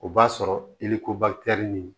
O b'a sɔrɔ i ni ko ni